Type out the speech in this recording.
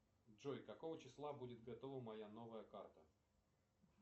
джой какого числа будет готова моя новая карта